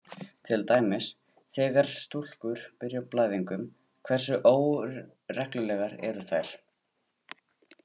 Til dæmis: Þegar stúlkur byrja á blæðingum, hversu óreglulegar eru þær?